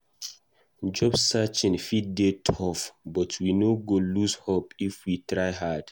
Job searching fit dey tough, but we no go lose hope if we try hard.